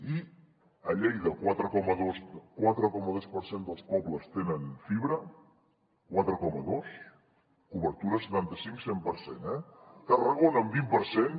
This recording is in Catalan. i a lleida el quatre coma dos per cent dels pobles tenen fibra quatre coma dos cobertura setanta cinc cent per cent eh tarragona vint per cent